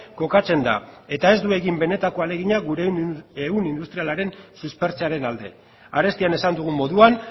kokatzen da eta ez du egin benetako ahalegina gure ehun industrialaren suspertzearen alde arestian esan dugun moduan